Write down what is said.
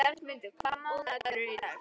Bjargmundur, hvaða mánaðardagur er í dag?